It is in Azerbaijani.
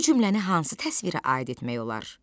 Bu cümləni hansı təsvirə aid etmək olar?